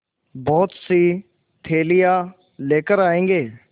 बहुतसी थैलियाँ लेकर आएँगे